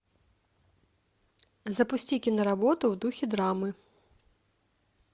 запусти киноработу в духе драмы